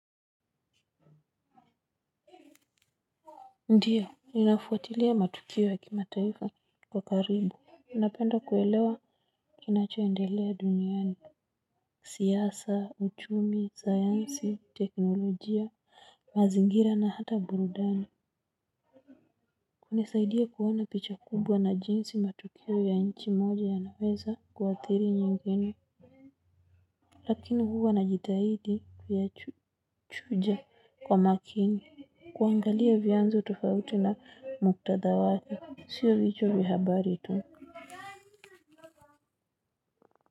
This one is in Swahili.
Ndiyo, ninafuatilia matukio ya kimataifa kwa karibu. Napenda kuelewa kinachoendelea duniani. Siasa, uchumi, sayansi, teknolojia, mazingira na hata burudani. Unisaidia kuona picha kubwa na jinsi matukio ya nchi moja yanaweza kuathiri nyingine. Lakini huwa najitahidi kuyachuja kwa makini. Kuangalia vyanzo tofauti na muktadha wake. Sio vichwa vya habari tu.